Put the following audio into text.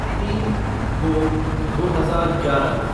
तीन दो दो हजार ग्यारह